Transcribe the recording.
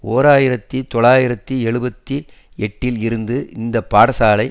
ஓர் ஆயிரத்தி தொள்ளாயிரத்தி எழுபத்து எட்டில் இருந்து இந்த பாடசாலை